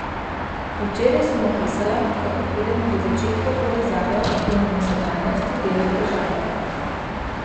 Včeraj sem opisala, kako pridemo do začetkov povezave, ki nam v sedanjosti dela težave.